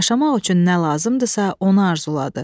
Yaşamaq üçün nə lazımdırsa, onu arzuladı.